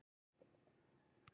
Hvað gera menn þá?